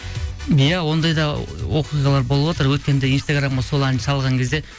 иә ондай да оқиғалар болыватыр өткенде инстаграмға сол әнді салған кезде